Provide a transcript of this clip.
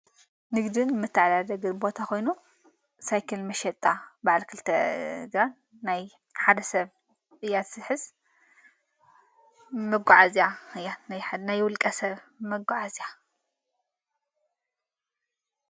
ንግድን ምትዕላደግር ቦታ ኾይኑ ሳይክል መሸጣ በዓልክልተድ ናይ ሓደ ሰብ ኢያት ስሕዝ መጐዓ እዚያ ያ ናይ ውልቀ ሰብ መጐዓእዚያ።